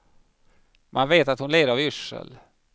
Man vet att hon led av yrsel.